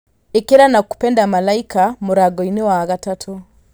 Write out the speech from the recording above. ĩkira nakupenda malaika mũrango-inĩ wa gatatũ